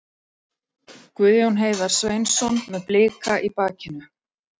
Guðjón Heiðar Sveinsson með Blika í bakinu.